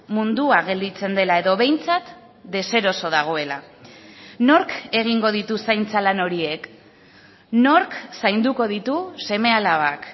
mundua gelditzen dela edo behintzat deseroso dagoela nork egingo ditu zaintza lan horiek nork zainduko ditu seme alabak